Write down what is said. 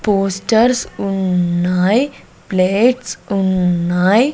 Posters ఉన్నాయ్ plates ఉన్నాయ్.